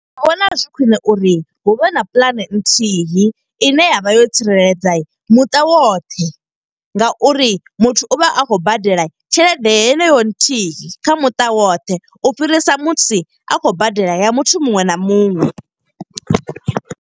Ndi vhona zwi khwiṋe uri hu vhe na puḽane nthihi, ine ya vha yo tsireledza muṱa woṱhe nga uri muthu u vha a khou badela tshelede heneyo nthihi kha muṱa woṱhe. U fhirisa musi a khou badela ya muthu muṅwe na muṅwe.